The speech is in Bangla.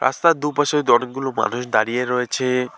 রাস্তার দু-পাশে হয়তো অনেকগুলো মানুষ দাঁড়িয়ে রয়েছে।